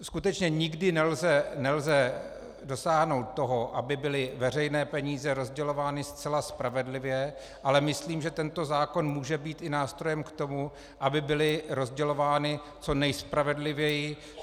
Skutečně nikdy nelze dosáhnout toho, aby byly veřejné peníze rozdělovány zcela spravedlivě, ale myslím, že tento zákon může být i nástrojem k tomu, aby byly rozdělovány co nejspravedlivěji.